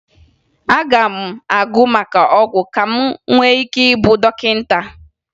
Aga m agụ maka ọgwụ ka m nwee ike ịbụ dọkịta